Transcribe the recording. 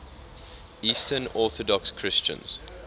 eastern orthodox christians